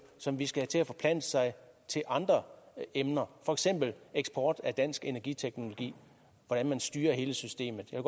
som vi skal have til at forplante sig til andre emner for eksempel eksport af dansk energiteknologi hvordan man styrer hele systemet jeg